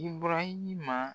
Ibɔrahima